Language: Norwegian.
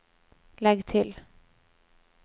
legg til